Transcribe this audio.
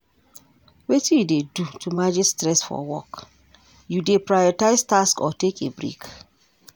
Wetin you dey do to manage stress for work, you dey prioritize tasks or take a break?